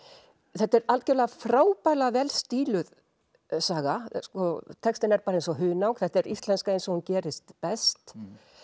þetta er algjörlega frábærlega vel stíluð saga textinn er bara eins og hunang þetta er íslenska eins og hún gerist best